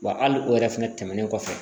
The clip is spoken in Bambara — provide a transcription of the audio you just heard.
Wa hali o yɛrɛ fɛnɛ tɛmɛnen kɔfɛ